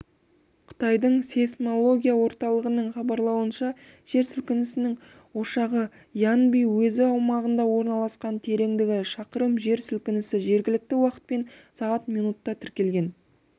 қытайдың сейсмология орталығының хабарлауынша жер сілкінісінің ошағы янби уезі аумағында орналасқан тереңдігі шақырым жер сілкінісі жергілікті уақытпен сағат минутта тіркелген